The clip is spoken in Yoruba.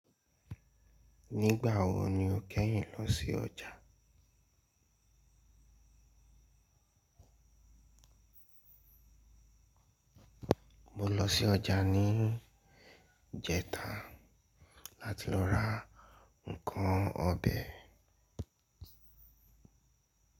Nígbà wo ni o kẹ́yìn lọ sí ọjà? Mo lọ sí ọjà ní ìjẹta láti lọ ra nnkan ọbẹ̀.